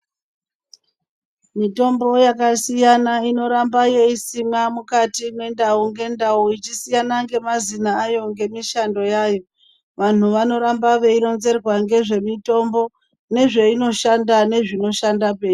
Mitombo yakasiyana inoramba yeisimwa mukati mwendau ngendau ichisiyana ngemazina ayo ngemishando yayo. Vanhu vanoramba veironzerwa ngezvemitombo nezvinoshanda nezvinoshanda pei...